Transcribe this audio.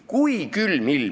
Kui külm on külm ilm?